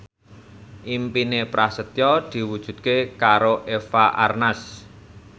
impine Prasetyo diwujudke karo Eva Arnaz